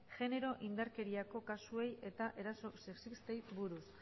genero indarkeriako kasuei eta eraso sexistei buruz